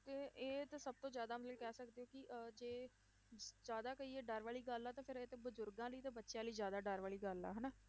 ਤੇ ਇਹ ਤਾਂ ਸਭ ਤੋਂ ਜ਼ਿਆਦਾ ਮਤਲਬ ਕਹਿ ਸਕਦੇ ਹਾਂ ਕਿ ਅਹ ਜੇ ਜ਼ਿਆਦਾ ਕਹੀਏ ਡਰ ਵਾਲੀ ਗੱਲ ਆ ਤਾਂ ਫਿਰ ਇਹ ਤੇ ਬਜ਼ੁਰਗਾਂ ਲਈ ਤੇ ਬੱਚਿਆਂ ਲਈ ਜ਼ਿਆਦਾ ਡਰ ਵਾਲੀ ਗੱਲ ਆ ਹਨਾ,